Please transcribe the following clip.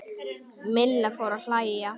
Milla fór að hlæja.